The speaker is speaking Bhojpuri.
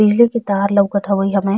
बिजली के तार लवकत हवे हमे।